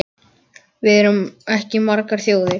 Við erum ekki margar þjóðir.